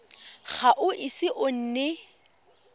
ga o ise o nne